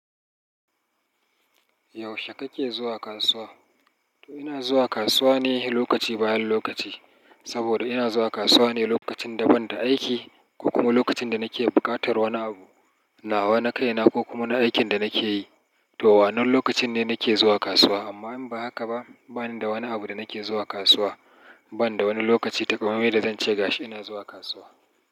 Yaushe kake zuwa kasuwa? Ina zuwa kasuwa ne lokaci bayan lokaci. Saboda ina zuwa kasuwa ne lokacin da ban da aiki ko kuma lokacin da nake buƙatar wani abu. Nawa na kaina ko kuma na aikin da nake yi. To, wannan lokacin ne nake zuwa kasuwa. Amma in ba haka ba, bani da wani abu da nake zuwa kasuwa. Ban da wani lokaci takamaime da zan ce gashi ina zuwa kasuwa.